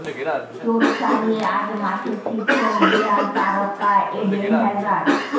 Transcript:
চোট সারিয়ে আজ মাঠে ফিরছেন রিয়াল তারকা এডেন হ্যাজার্ড